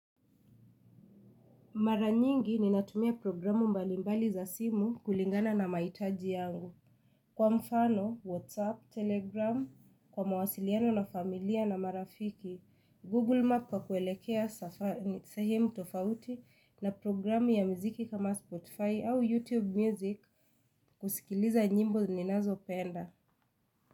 Mara nyingi ninatumia programu mbalimbali za simu kulingana na mahitaji yangu. Kwa mfano, Whatsapp, Telegram, kwa mawasiliano na familia na marafiki, Google Map kwa kuelekea sehemu tofauti na programu ya mziki kama Spotify au YouTube Music kusikiliza nyimbo ninazo penda.